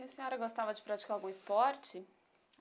E a senhora gostava de praticar algum esporte?